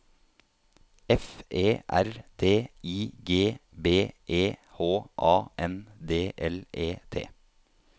F E R D I G B E H A N D L E T